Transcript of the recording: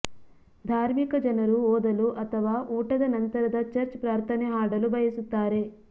ಧಾರ್ಮಿಕ ಜನರು ಓದಲು ಅಥವಾ ಊಟದ ನಂತರದ ಚರ್ಚ್ ಪ್ರಾರ್ಥನೆ ಹಾಡಲು ಬಯಸುತ್ತಾರೆ